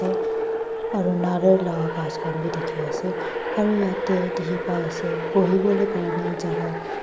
aru Nadar laga bus khan tu dekhi ase aru jaate dekhi pai ase bohe bole Kora na jagah --